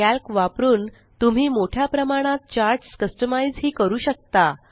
calc वापरुन तुम्ही मोठ्या प्रमाणात चार्ट्स कस्टमाइज़ हि करू शकता